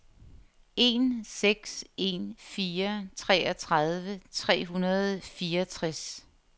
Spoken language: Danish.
en seks en fire treogtredive tre hundrede og fireogtres